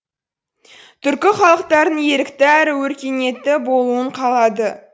түркі халықтарының ерікті әрі өркениетті болуын қалады